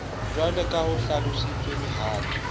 jwaleka ha ho hlalosetswe mohato